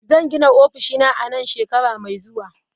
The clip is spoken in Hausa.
Zan gina ofishina a nan shekara mai zuwa.